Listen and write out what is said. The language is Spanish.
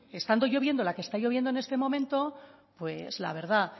estando lloviendo la que está lloviendo en este momento pues la verdad